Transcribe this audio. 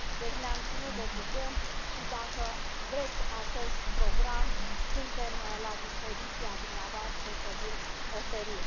Deci, ne am ținut de cuvânt și, dacă vreți acest program, suntem la dispoziția dumneavoastră, să vi l oferim.